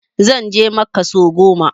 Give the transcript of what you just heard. Zan je makka sau goma